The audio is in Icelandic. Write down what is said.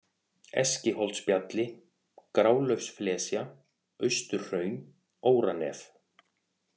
Eskiholtsbjalli, Grálaufsflesja, Austurhraun, Óranef